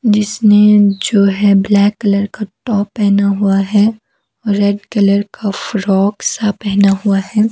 जिसने जो है ब्लैक कलर का टॉप पहना हुआ है रेड कलर का फ्रॉक सा पहना हुआ है।